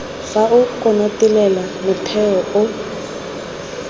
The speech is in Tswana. fa o konotelela motheo o